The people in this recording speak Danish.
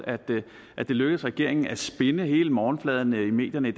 at det lykkedes regeringen at spinne hele morgenfladen i medierne i